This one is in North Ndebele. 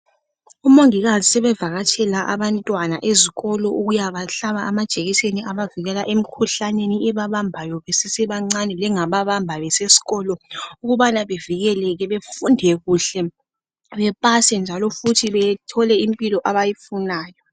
Umongikazi sebevakatshela abantwana ezikolo ukuyabahlaba amajekiseni abavukela emikhuhlaneni ebabambayo besesebancane lengababamba beseskolo ukubana bevikeleke befunde kuhle bepase futhi bethole impilo abayifunayo .